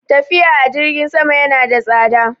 Tafiya a jirgin sama yana da tsada.